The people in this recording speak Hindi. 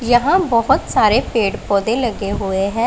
यहां बहोत सारे पेड़ पौधे लगे हुए है।